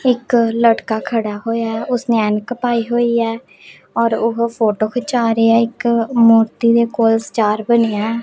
ਇਕ ਲੜਕਾ ਖੜਾ ਹੋਯਾ ਹੈ ਉਸਨੇ ਐਨਕ ਪਾਈ ਹੋਈ ਹੈ ਔਰ ਉਹ ਫੋਟੋ ਖਿਚਾ ਰਿਹਾ ਇੱਕ ਮੂਰਤੀ ਦੇ ਕੋਲ ਸਟਾਰ ਬਣਿਆ ਹੈ।